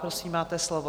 Prosím, máte slovo.